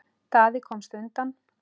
Daði komst undan.